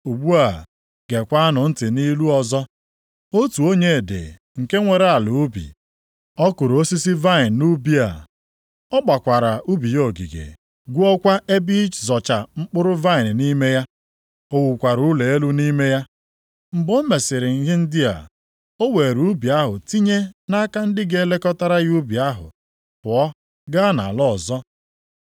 “Ugbu a geekwanụ ntị nʼilu ọzọ. Otu onye dị nke nwere ala ubi. Ọ kụrụ osisi vaịnị nʼubi a. Ọ gbakwara ubi ya ogige, gwuokwa ebe ịzọcha mkpụrụ vaịnị nʼime ya. + 21:33 Maọbụ, ebe a na-apịpụta mmanya vaịnị O wukwara ụlọ elu nʼime ya. Mgbe o mesịrị ihe ndị a, o weere ubi ahụ tinye nʼaka ndị ga-elekọtara ya ubi ahụ, pụọ gaa nʼala ọzọ.